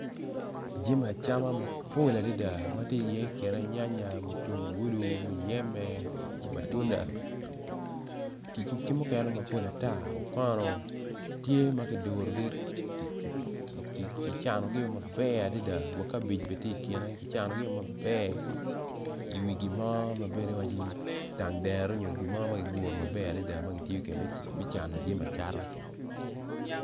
Jami acama mapol adada matye iye kine nyanyan tungulu muyeme matunda ki mukene mapol ata okono tye makidurogi kicanogi maber adada wa kabej bene tye ikene kicano gi o maber iwi gimo mabedo waco i dan dero nyo gimo magiyubo maber me cano jami acata.